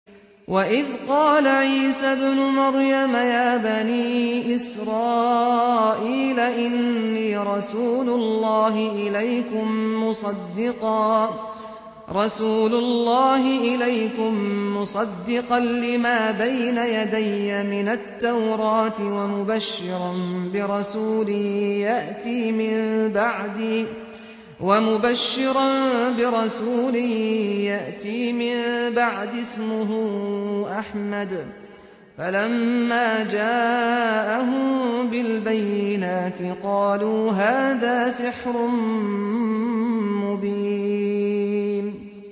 وَإِذْ قَالَ عِيسَى ابْنُ مَرْيَمَ يَا بَنِي إِسْرَائِيلَ إِنِّي رَسُولُ اللَّهِ إِلَيْكُم مُّصَدِّقًا لِّمَا بَيْنَ يَدَيَّ مِنَ التَّوْرَاةِ وَمُبَشِّرًا بِرَسُولٍ يَأْتِي مِن بَعْدِي اسْمُهُ أَحْمَدُ ۖ فَلَمَّا جَاءَهُم بِالْبَيِّنَاتِ قَالُوا هَٰذَا سِحْرٌ مُّبِينٌ